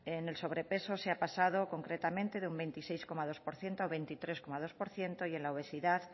en el sobrepeso se ha pasado concretamente de un veintiséis coma dos por ciento a veintitrés coma dos por ciento y en la obesidad